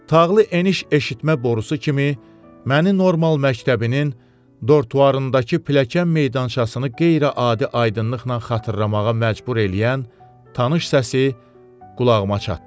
Tağlı eniş eşitmə borusu kimi, məni Normal məktəbinin dortuarındakı pilləkən meydançasını qeyri-adi aydınlıqla xatırlamağa məcbur eləyən tanış səsi qulağıma çatdırdı.